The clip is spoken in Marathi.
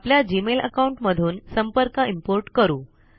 आपल्या जीमेल अकाउंट मधून संपर्क इम्पोर्ट करू